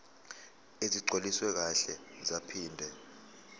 ezigcwaliswe kahle zaphinde